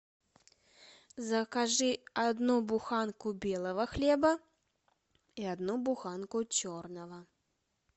закажи одну буханку белого хлеба и одну буханку черного